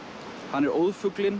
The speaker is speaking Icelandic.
hann er